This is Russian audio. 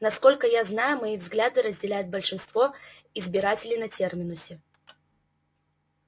насколько я знаю мои взгляды разделяют большинство избирателей на терминусе